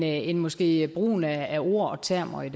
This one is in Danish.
er end måske brugen af ord og termer i